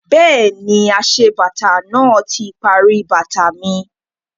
Bẹ́ẹ̀ni, aṣebàtà náà ti parí bàtà mi